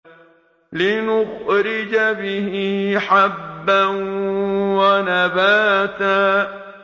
لِّنُخْرِجَ بِهِ حَبًّا وَنَبَاتًا